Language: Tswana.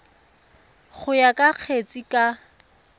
go ya ka kgetse ka